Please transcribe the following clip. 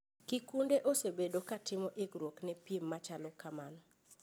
Kikunde osebedo ka timo ikruok ne piem machalo kamano .